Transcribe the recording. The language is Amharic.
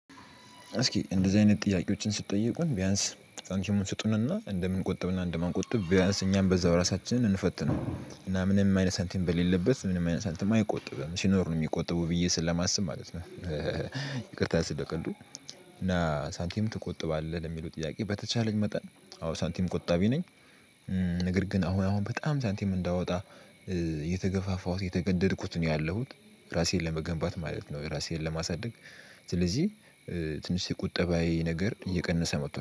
እስኪ እንደዚህ አይነት ጥያቄዎችን ስትጠየቁን ቢያንስ ሳንቲሙን ስጡንና እንደምንቆጥብና እንደማንቆጥብ ቢያንስ እኛም በዛው ራሳችንን እንፈትነው ምናምንም አይነት ሳንቲም በሌለበት ምናምን አይነት ሳንቲም አይቆጥብም ሲኖር ነው የሚቆጥቡ ብዬ ስለማስብ ማለት ነው። ይቅርታ ስለቀልዱ። እና ሳንቲም ትቆጥባለህ ለሚለው ጥያቄ? በተቻለኝ መጠን አዎ ሳንቲም ቆጣቢ ነኝ። ነገር ግን አሁን አሁን በጣም ሳንቲም እንዳወጣ እየተገፋፋሁት እየተገደድኩት ነው ያለሁት። ራሴን ለመገንባት ማለት ነው። ራሴን ለማሳደግ ስለዚህ ትንሽ ቁጠባዬ ነገር እየቀነሰ መጥቷል